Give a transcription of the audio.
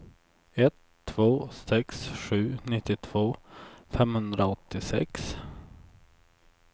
ett två sex sju nittiotvå femhundraåttiosex